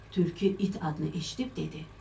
Tülkü it adını eşidib dedi: